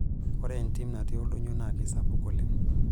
Ore entim natii oldonyio naa keisapuk oleng'.